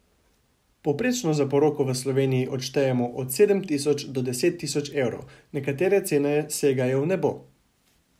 Povprečno za poroko v Sloveniji odštejemo od sedem tisoč do deset tisoč evrov, nekatere cene segajo v nebo.